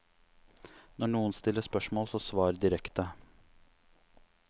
Når noen stiller spørsmål så svar direkte.